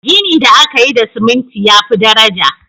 Gini da aka yi da ciminti ya fi daraja.